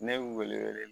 Ne bɛ wele wele